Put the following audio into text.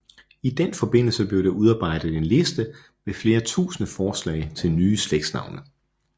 I den forbindelse blev der udarbejdet en liste med flere tusinde forslag til nye slægtsnavne